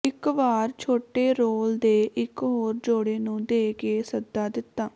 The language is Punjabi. ਇੱਕ ਵਾਰ ਛੋਟੇ ਰੋਲ ਦੇ ਇਕ ਹੋਰ ਜੋੜੇ ਨੂੰ ਦੇ ਕੇ ਸੱਦਾ ਦਿੱਤਾ